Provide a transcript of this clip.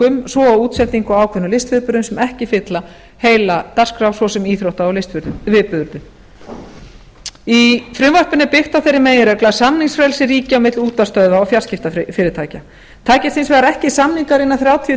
um svo og útsendingu á ákveðnum listviðburðum sem ekki fylla heila dagskrá svo svo íþrótta og listviðburðum í frumvarpinu er byggt á þeirri meginreglu að samningsfrelsi ríki á milli útvarpsstöðva og fjarskiptafyrirtækja takist hins vegar ekki samningar innan þrjátíu